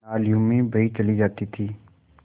नालियों में बही चली जाती थी